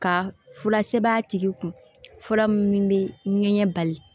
Ka fura sɛbɛn a tigi kun fura min bɛ ɲɛ bali